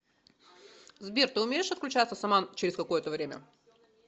сбер ты умеешь отключаться сама через какое то время